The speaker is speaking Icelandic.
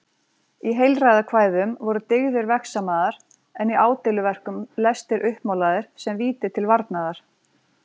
Í heilræðakvæðum voru dyggðir vegsamaðar en í ádeiluverkum lestir uppmálaðir sem víti til varnaðar.